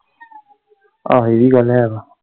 ਆਹੋ ਇਵੀਂ ਗੱਲ ਹੈ ਵਾ।